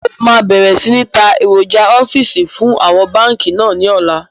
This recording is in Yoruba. Mo máa bẹ̀rẹ̀ sini ta èròjà ọ́fíìsì fún àwọn báńkì náà ni ọ̀la